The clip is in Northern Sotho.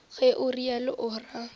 ge o realo o ra